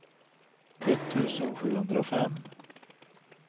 etttusen sjuhundrafem